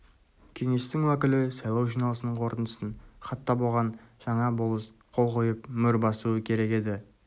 кеңестің уәкілі сайлау жиналысының қорытындысын хаттап оған жаңа болыс қол қойып мөр басуы керек еді